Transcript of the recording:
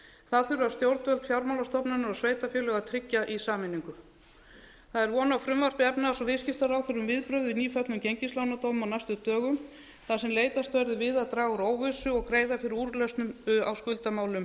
það þurfa stjórnvöld fjármálastofnanir og sveitarfélög að tryggja í sameiningu það er von á frumvarpi efnahags og viðskiptaráðherra um viðbrögð við nýföllnum gengislánadómi á næstu dögum þar sem leitast verður við að draga úr óvissu og greiða fyrir úrlausnum á skuldamálum